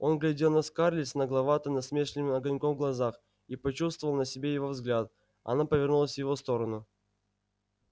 он глядел на скарлетт с нагловато-насмешливым огоньком в глазах и почувствовав на себе его взгляд она повернулась в его сторону